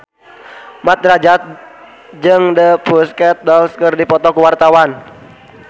Mat Drajat jeung The Pussycat Dolls keur dipoto ku wartawan